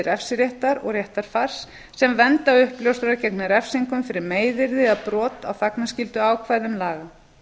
refsiréttar og réttarfars sem vernda uppljóstrara gegn refsingum fyrir meiðyrði eða brot á þagnarskylduákvæðum laga